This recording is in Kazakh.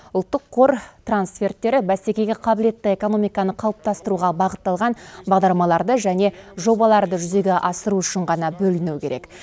ұлттық қор трансферттері бәсекеге қабілетті экономиканы қалыптастыруға бағытталған бағдарламаларды және жобаларды жүзеге асыру үшін ғана бөлінуі керек